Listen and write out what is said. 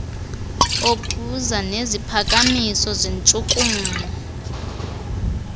okuza neziphakamiso zentshukumo